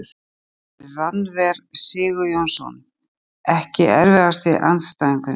Hann heitir Rannver Sigurjónsson EKKI erfiðasti andstæðingur?